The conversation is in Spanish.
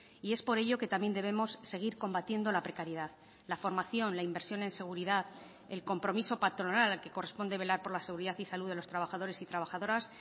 y es por ello que también debemos seguir combatiendo la precariedad la formación la inversión en seguridad el compromiso patronal al que corresponde velar por la seguridad y salud de los trabajadores y trabajadoras